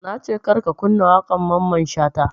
Nace kar ka kunna waƙar mamman shata